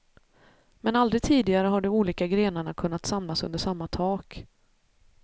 Men aldrig tidigare har de olika grenarna kunnat samlas under samma tak.